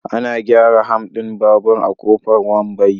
Ana gyara ham din babur a Kofar Wambai.